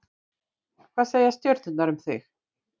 Hvað segja stjörnurnar um þig?